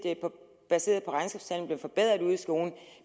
baseret på at forbedret ude i skolen